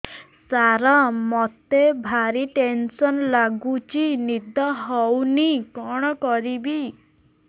ସାର ମତେ ଭାରି ଟେନ୍ସନ୍ ଲାଗୁଚି ନିଦ ହଉନି କଣ କରିବି